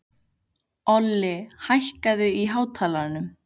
Olli, hækkaðu í hátalaranum.